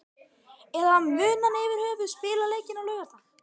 Eða mun hann yfirhöfuð spila leikinn á laugardag?